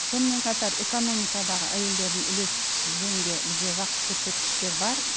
сонымен қатар экономикадағы әйелдердің үлесі жөнінде бізде жақсы көрсеткіштер бар